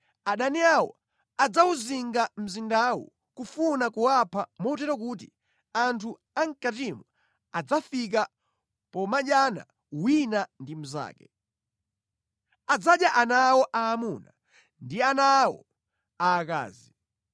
Adani awo adzawuzinga mzindawo kufuna kuwapha motero kuti anthu a mʼkatimo adzafika pomadyana wina ndi mnzake. Adzadya ana awo aamuna ndi ana awo aakazi.’